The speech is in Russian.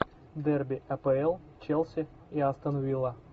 дерби апл челси и астон вилла